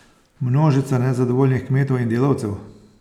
Množica nezadovoljnih kmetov in delavcev?